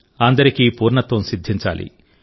అందరికీ పూర్ణత్వం సిద్ధించాలి